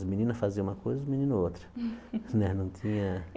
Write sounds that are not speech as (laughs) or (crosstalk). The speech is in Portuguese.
As meninas faziam uma coisa, os meninos outra. (laughs)